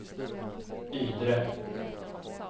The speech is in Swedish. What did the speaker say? Ydre